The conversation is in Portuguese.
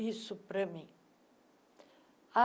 Isso para mim.